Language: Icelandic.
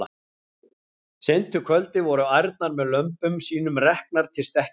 Seint um kvöldið voru ærnar með lömbum sínum reknar til stekkjarins.